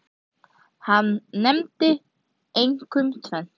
Hann nefndi einkum tvennt.